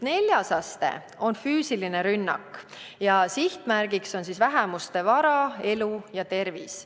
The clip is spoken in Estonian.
Neljas aste on füüsiline rünnak ja sihtmärk on vähemuste vara, elu ja tervis.